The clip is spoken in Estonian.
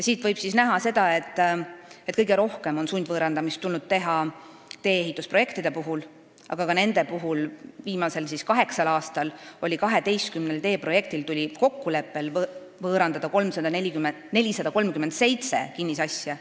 Siit võib näha, et kõige rohkem on sundvõõrandamist tulnud teha tee-ehitusprojektide puhul, viimasel kaheksal aastal tuli 12 teeprojekti huvides võõrandada 437 kinnisasja.